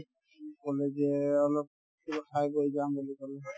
সি ক'লে যে অলপ কিবা খাই বৈ যাম বুলি ক'লে